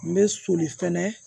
N bɛ soli fɛnɛ